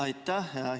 Aitäh!